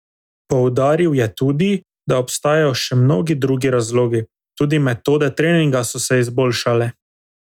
Poudaril je tudi, da obstajajo še mnogi drugi razlogi: "Tudi metode treninga so se izboljšale.